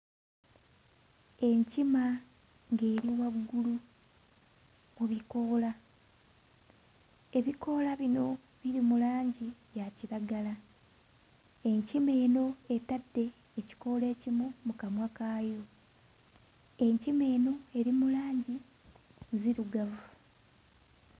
Enkima ng'eri waggulu ku bikoola. Ebikoola bino biri mu langi ya kiragala. Enkima eno etadde ekikoola ekimu mu kamwa kaayo. Enkima eno eri mu langi nzirugavu.